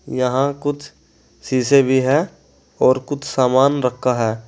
यहां कुछ शीशें भी हैं और कुछ सामान रखा है।